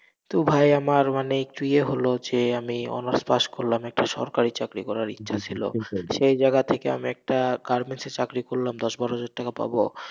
তো ভাই আমার মানে একটু ইয়ে হলো, যে আমি honours pass করলাম, একটা সরকারি চাকরি করার ইচ্ছা ছিল, সেই জায়গা থেকে আমি একটা garments এ চাকরি করলাম, দশ বারো হাজার টাকা পাবো।